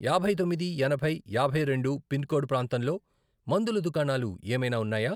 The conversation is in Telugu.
యాభై తొమ్మిది, ఎనభై, యాభై రెండు, పిన్ కోడ్ ప్రాంతంలో మందుల దుకాణాలు ఏమైనా ఉన్నాయా?